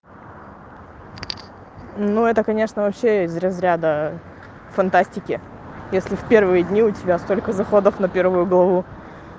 ну это конечно вообще из разряда фантастики если в первые дни у тебя столько заходов на первую главу